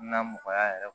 Na mɔgɔya yɛrɛ